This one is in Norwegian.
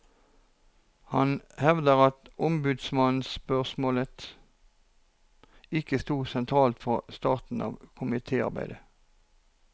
Han hevder at ombudsmannsspørsmålet ikke stod sentralt fra starten av komitearbeidet.